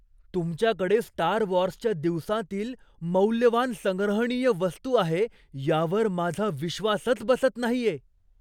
तुमच्याकडे स्टार वॉर्सच्या दिवसांतील मौल्यवान संग्रहणीय वस्तू आहे यावर माझा विश्वासच बसत नाहीये.